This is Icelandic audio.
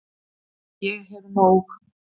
Ég hef nóg.